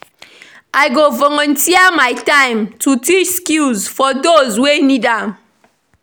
I go volunteer my time to teach skills for those wey need am.